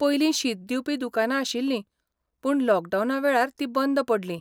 पयलीं शीत दिवपी दुकानां आशिल्लीं, पूण लॉकडावना वेळार तीं बंद पडलीं.